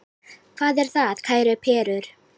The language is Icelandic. Hvað er það, kæru perur?